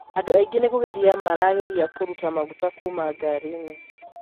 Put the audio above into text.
Andũ aingĩ nĩ kugeria maageragia kũruta maguta kuuma ngari-inĩ.